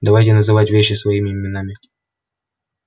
давайте называть вещи своими именами